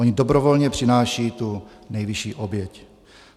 Oni dobrovolně přinášejí tu nejvyšší oběť.